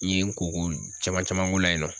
N ye n ko ko caman caman k'o la yen nɔ